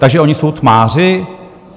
Takže oni jsou tmáři?